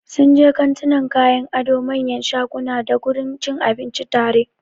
Sunje kantunan kayan ado, manyan shaguna dagurin cin abinci tare.